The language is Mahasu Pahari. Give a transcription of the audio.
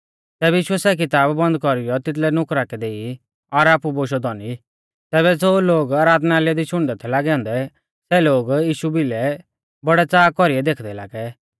तैबै यीशुऐ सै किताब बन्द कौरीयौ तिदलै नुकरा कै देई और आपु बोशौ धौनी तैबै ज़ो लोग आराधनालय दी शुणदै थै लागै औन्दै सै लोग यीशु भिलै बौड़ै च़ाहा कौरीऐ देखदै लागै